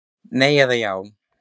Nei eða já.